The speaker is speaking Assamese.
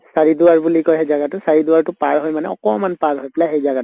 চাৰি দুৱাৰ বুলি কয় সেই জাগাটো, চাৰি দুৱাৰতো পাৰ হৈ অকমান পাৰ হৈ পালে এই জাগাটো